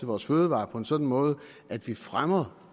vores fødevarer på en sådan måde at vi fremmer